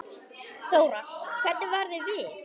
Þóra: Hvernig varð þér við?